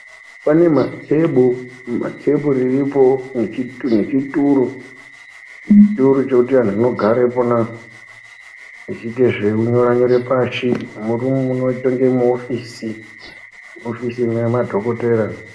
Pane mathebu, matheburu aripo, nechi nechituru ,chituru zvekuti anhu anogare pona zviite zvekunyora-nyora pashi. Murumu munoite unge ofisi yamadhokotera.